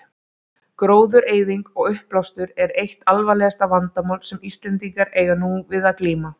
Gróðureyðing og uppblástur eru eitt alvarlegasta vandamál sem Íslendingar eiga nú við að glíma.